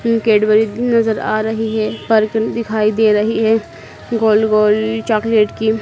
उम् Cadbury भी नजर आ रही है दिखाई दे रही है गोल गोल चॉकलेट की--